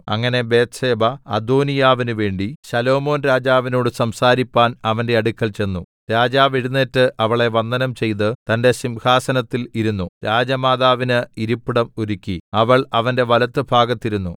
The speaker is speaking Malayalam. അങ്ങനെ ബത്ത്ശേബ അദോനീയാവിനുവേണ്ടി ശലോമോൻരാജാവിനോട് സംസാരിപ്പാൻ അവന്റെ അടുക്കൽ ചെന്നു രാജാവ് എഴുന്നേറ്റ് അവളെ വന്ദനം ചെയ്ത് തന്റെ സിംഹാസനത്തിൽ ഇരുന്നു രാജമാതാവിന് ഇരിപ്പിടം ഒരുക്കി അവൾ അവന്റെ വലത്തുഭാഗത്ത് ഇരുന്നു